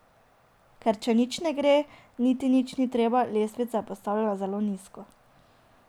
Ker če nič ne gre, niti nič ni treba, letvica je postavljena zelo nizko.